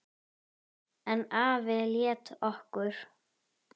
En afi lét okkur